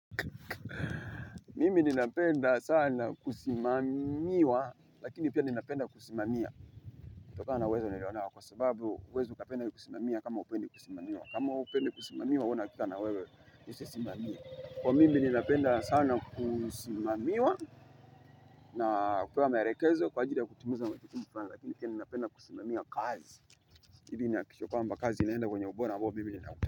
Mimi nina penda sana kusimamiwa, lakini pia nina penda kusimamia. Kutokana wezo niliona kwa sababu uwezi uka penda kusimamiwa kama upendi kusimamiwa. Kama upendi kusimamiwa, wuna kika na wewe nise simamiwa. Kwa mimi nina penda sana kusimamiwa na kupewa maarekezo kwa ajili ya kutumuza mwetikimu kufana, lakini pia nina penda kusimamiwa kazi. Mimi nahakikisha kwamba kazi inaenda kwenye obora ambao mimi ninautaka.